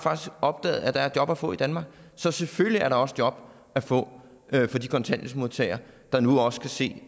opdaget at der er job at få i danmark så selvfølgelig er der også job at få for de kontanthjælpsmodtagere der nu også kan se